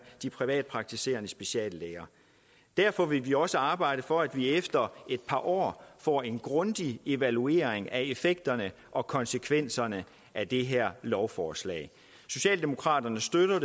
de privatpraktiserende speciallæger derfor vil vi også arbejde for at man efter et par år får en grundig evaluering af effekterne og konsekvenserne af det her lovforslag socialdemokraterne støtter